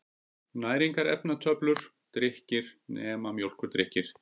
Næringarefnatöflur: Drykkir, nema mjólkurdrykkir.